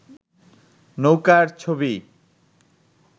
নৌকার ছবি